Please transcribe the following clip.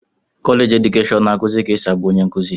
kọleji edukeshọn na-akụzi ka esi abụ onye nkuzi.